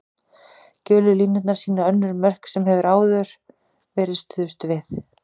Gulu línurnar sýna önnur mörk sem hefur áður verið stuðst við.